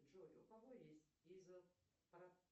джой у кого есть